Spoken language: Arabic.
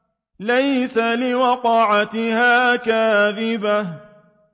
لَيْسَ لِوَقْعَتِهَا كَاذِبَةٌ